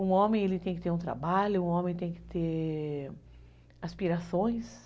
Um homem tem que ter um trabalho, um homem tem que ter aspirações.